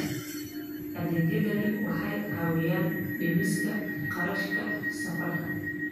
Adeegyadani waxay caawiyaan dhimista kharashka safarka.